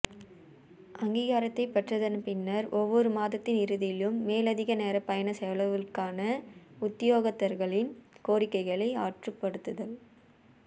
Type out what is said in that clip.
அங்கீகாரத்தைப் பெற்றதன் பின்னர் ஒவ்வொரு மாதத்தின் இறுதியிலும் மேலதிக நேர பயண செலவுகளுக்கான உத்தியோகத்தர்களின் கோரிக்கைகளை ஆற்றுப்படுத்தல்